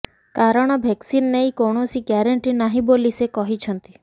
କାରଣ ଭେକସିନ ନେଇ କୌଣସି ଗ୍ୟାରେଣ୍ଟି ନାହିଁ ବୋଲି ସେ କହିଛନ୍ତି